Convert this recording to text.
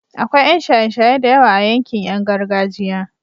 akwai Yan shaye shaye da yawa a yankin Yan gargajiya